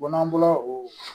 n'an bɔra o